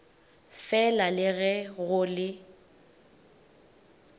fela le ge go le